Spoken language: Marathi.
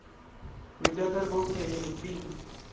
विद्याधर गोखले हे पी.